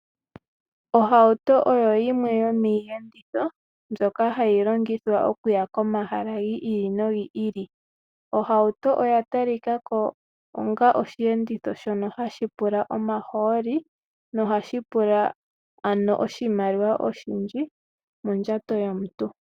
Ohauto oyo yimwe yo miiyenditho mbyoka hayi longithwa okuya komahala gi ili nogi ili. Ohauto oya tali kako onga oshiyenditho shono hashi pula omahooli no hashi pula ano oshimaliwa oshindji mondjato yomuntu.